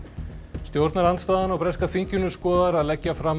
stjórnarandstaðan á breska þinginu skoðar að leggja fram